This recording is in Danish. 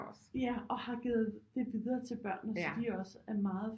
Ja og har givet det videre til børnene så de også er meget